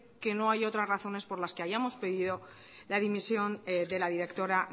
que no haya otras razones por las que hayamos pedido la dimisión de la directora